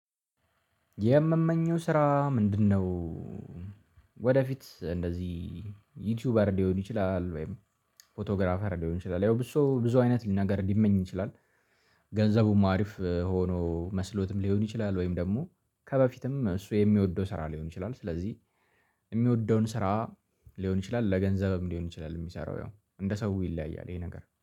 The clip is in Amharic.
የምመኘው ስራ ምንድነው? ወደፊት እንደዚህ ዩቲዩበር ሊሆን ይችላል ወይም ፎቶግራፈር ሊሆን ይችላል ያው ብዙ ሰው ብዙ አይነት ነገር ሊመኝ ይችላል። ገንዘቡም አሪፍ ሆኖ መስሎትም ሊሆን ይችላል ወይም ደግሞ ከበፊትም እሱ የሚወደው ስራ ሊሆን ይችላል። ስለዚህ የሚወደውን ስራ ሊሆን ይችላል ለገንዘብም ሊሆን ይችላል የሚሰራው ያው እንደ ሰው ይለያያል ይሄ ነገር